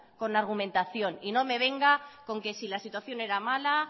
con argumentación y no me venga con que la situación era mala